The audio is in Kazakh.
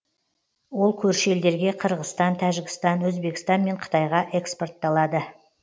ол көрші елдерге қырғызстан тәжікстан өзбекстан мен қытайға экспортталады